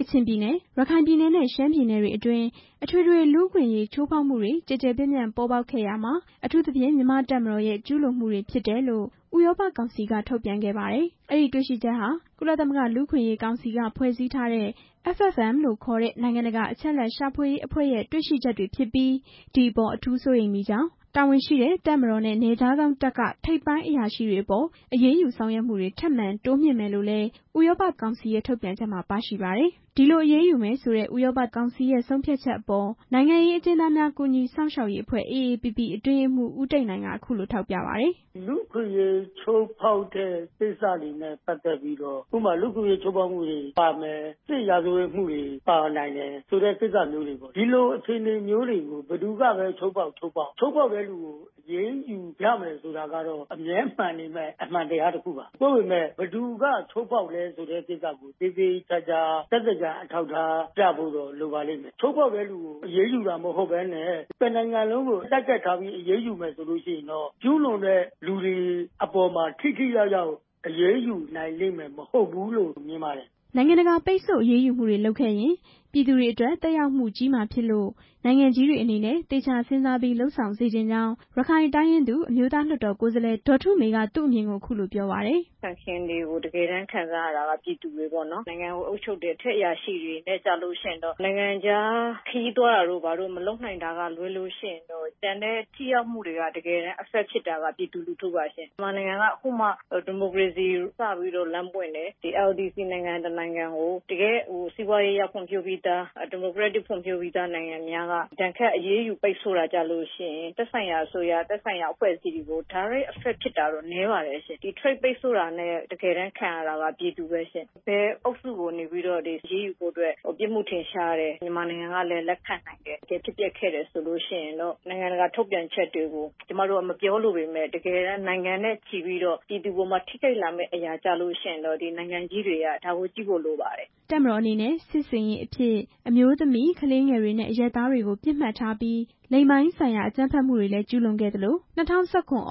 ကချင်ပြည်နယ်၊ ရခိုင်ပြည်နယ်နဲ့ ရှမ်းပြည်နယ်တွေအတွင်း အထွေထွေ လူ့အခွင့်အရေး ချိုးဖောက်မှုတွေ အကျယ် အပြန့် ပေါ်ပေါက်ခဲ့ရာမှာ၊ အထူးသဖြင့် မြန်မာ့တပ်မတော်ရဲ့ ကျူးလွန်မှုတွေဖြစ်တယ်လို့ ဥရောပကောင်စီ က ထုတ်ပြန်ခဲ့ပါတယ်။ အဲဒီတေ့ွရှိချက်ဟာ ကုလသမဂ္ဂ လူ့အခွင့်အရေးကောင်စီက ဖွဲ့စည်းထားတဲ့ FFM လို့ခေါ်တဲ့ နိုင်ငံတကာ အချက်အလက်ရှာဖွေရေး အဖွဲ့ရဲ့ တွေ့ရှိချက်တွေဖြစ်ပြီး ဒီအပေါ်အထူးစိုးရိမ်မိကြောင်း၊ တာဝန်ရှိတဲ့ တပ်မတော်နဲ့ နယ်ခြားစောင့်တပ်က ထိပ်ပိုင်းအရာရှိတွေအပေါ် အရေးယူဆောင်ရွက်မှုတွေ ထပ်မံတိုးမြှင့်မယ်လို့လည်း ဥရောပကောင်စီရဲ့ ထုတ်ပြန်ချက်မှာ ပါရှိပါတယ်။ ဒီလိုအရေးယူမယ်ဆိုတဲ့ ဥရောပသမဂ္ဂကောင်စီရဲ့ ဆုံးဖြတ်ချက်အပေါ် နိုင်ငံရေးအကျဉ်းသားများ ကူညီစောင့်ရှောက်ရေးအဖွဲ့ AAPP အတွင်းရေးမှူး ဦးတိတ်နိုင် က အခုလို ထောက်ပြပါတယ်။ "လူ့အခွင့်အရေးချိုးဖောက်တဲ့ကိစ္စတွေနဲ့ ပတ်သက်ပြီးတော့ ဥပမာ- လူ့အခွင့်အရေးချိုးဖောက်မှုတွေပါမယ်၊ စစ်ရာဇဝတ်မှုတွေ ပါနိုင်တယ်ဆိုတဲ့ကိစ္စမျိုးတွေပေါ့၊ ဒီလိုအခြေအနေမျိုးတွေကို ဘယ်သူကပဲ ချိုးဖောက် ချိုးဖောက် ချိုးဖောက်တဲ့သူကို အရေးယူရမယ်ဆိုတာ အမှန်တရားပဲ၊ ဒါပေမဲ့ ဘယ်သူကချိုးဖောက်လဲဆိုတာကို သက်သေအထောက်အထားပြဖို့တော့ လိုပါလိမ့်မယ်၊ ချိုးဖောက်တဲ့သူကို အရေးယူတာမဟုတ်ဘဲနဲ့ တစ်နိုင်ငံလုံးကို Target ထားပြီး အရေးယူမယ်ဆိုရင်တော့ ကျူးလွန်တဲ့သူတွေအပေါ်မှာ ထိထိရောက်ရောက် အရေးယူနိုင်မှာမဟုတ်ဘူးလို့ မြင်ပါတယ်" နိုင်ငံတကာက ပိတ်ဆို့အရေးယူမှုတွေလုပ်ခဲ့ရင် ပြည်သူတွေအတွက် သက်ရောက်မှုကြီးမှာဖြစ်လို့ နိုင်ငံကြီးတွေ အနေနဲ့ သေချာစဉ်းစားပြီး လုပ်ဆောင်စေချင်ကြောင်း ရခိုင်တိုင်းရင်းသူ အမျိုးသားလွှတ်တော်ကိုယ်စားလှယ် ဒေါ်ထုမေ က သူ့အမြင်ကို အခုလို ပြောပါတယ်။ "ပိတ်ဆို့တွေကို တကယ်တမ်း ခံစားရတာက ပြည်သူတွေပေါ့နော်၊ နိုင်ငံကိုအုပ်ချုပ်တဲ့ အထက်အရာရှိတွေက နိုင်ငံခြားခရီးသွားတာတို့ မလုပ်နိုင်တာကလွဲလို့ ကျန်တဲ့ထိရောက်မှုတွေက ပြည်သူလူထုပါ၊ ခုမှဒီမိုကရေစီစပြီး လမ်းပွင့်တဲ့ LDC နိုင်ငံတစ်နိုင်ငံကို စီးပွားရေးအရရော၊ ဒီမိုကရက်တစ်ဖွံ့ဖြိုးပြီးသားနိုင်ငံတွေက ဒဏ်ခတ်ပိတ်ဆို့ အရေးယူတာကျတော့ သက်ဆိုင်ရာအဖွဲ့အစည်းတွေကို တိုက်ရိုက်သက်ရောက်တာတော့ နည်းပါတယ်၊ ကုန်သွယ်မှု ပိတ်ဆို့တာကို တကယ်တမ်းခံရတာက ပြည်သူပါပဲ၊ ဘယ်အဖွဲ့ကိုမဆို အရေးယူဖို့ပြစ်မှု ထင်ရှား တယ်၊ မြန်မာကလည်း လက်ခံနိုင်တယ်၊ တကယ်ဖြစ်ခဲ့တယ်ဆိုရင် နိုင်ငံတကာထုတ်ပြန်ချက်တွေကို ကျမတို့က မပြောလိုပေမဲ့ နိုင်ငံနဲ့ချီပြီး ပြည်သူအပေါ်မှာ ထိခိုက်လာမယ့်အရာကိုတော့ နိုင်ငံကြီးတွေက ဒါကို ကြည့်ဖို့ လိုပါတယ်" တပ်မတော်အနေနဲ့ စစ်ဆင်ရေးအဖြစ် အမျိုးသမီး၊ ကလေးငယ်တွေနဲ့ အရပ်သားတွေကို ပစ်မှတ်ထားပြီး လိင်ပိုင်းဆိုင်ရာ အကြမ်းဖက်မှုတွေလည်း ကျူးလွန်ခဲ့သလို ၂၀၁၇ သြဂုတ်